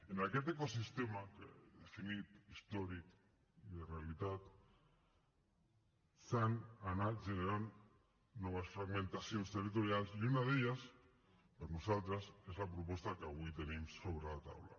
en aquest ecosistema que he definit històric i de realitat s’han anat generant noves fragmentacions territorials i una d’elles per nosaltres és la proposta que avui tenim sobre la taula